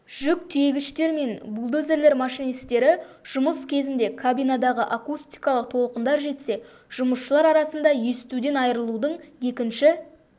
жүк тиегіштер мен бульдозерлер машинистері жұмыс кезінде кабинадағы акустикалық толқындар жетсе жұмысшылар арасында естуден айырылудың екінші